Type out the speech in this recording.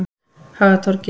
Hagatorgi